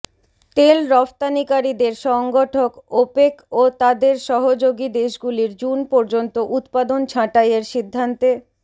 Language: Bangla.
তেল রফতানিকারীদের সংগঠন ওপেক ও তাদের সহযোগী দেশগুলির জুন পর্যন্ত উৎপাদন ছাঁটাইয়ের সিদ্ধান্তে